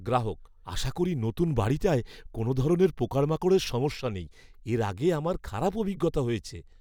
গ্রাহক, "আশা করি নতুন বাড়িটায় কোনও ধরনের পোকামাকড়ের সমস্যা নেই; এর আগে আমার খারাপ অভিজ্ঞতা হয়েছে।"